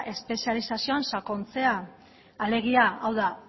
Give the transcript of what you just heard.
espezializazioan sakontzea alegia hau da